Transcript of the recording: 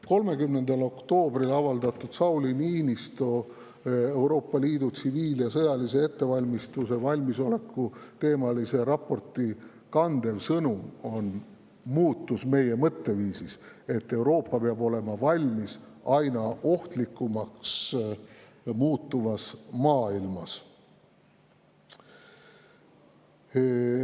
30. oktoobril avaldatud Sauli Niinistö Euroopa Liidu tsiviil‑ ja sõjalise ettevalmistuse ja valmisoleku teemalise raporti kandev sõnum on muutus meie mõtteviisis, sest Euroopa peab olema valmis selleks, et maailm muutub aina ohtlikumaks.